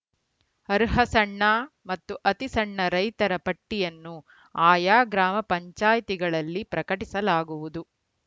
ಅರ್ಹ ಸಣ್ಣ ಮತ್ತು ಅತಿ ಸಣ್ಣ ರೈತರ ಪಟ್ಟಿಯನ್ನು ಆಯಾ ಗ್ರಾಮ ಪಂಚಾಯ್ತಿಗಳಲ್ಲಿ ಪ್ರಕಟಿಸಲಾಗುವುದು